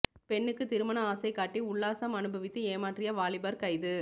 பெண்ணுக்கு திருமண ஆசை காட்டி உல்லாசம் அணுபவித்து ஏமாற்றிய வாலிபர் கைது